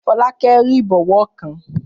Fọlákẹ́ rí ìbọwọ́ kan